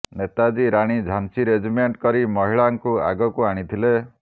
Netaji Rani Jhansi regiment କରି ମହିଳାଙ୍କୁ ଆଗକୁ ଆଣିଥିଲେ